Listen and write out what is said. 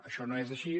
això no és així